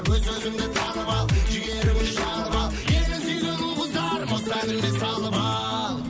өз өзіңді танып ал жігері елін сүйген ұл қыздар осы әніме салып ал